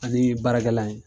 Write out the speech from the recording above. Ani baarakɛla ye